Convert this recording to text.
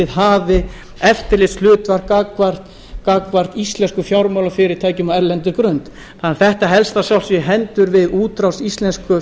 hafi eftirlitshlutverk gagnvart íslenskum fjármálafyrirtækjum á erlendri grund þetta helst að sjálfsögðu í hendur við útrás íslensku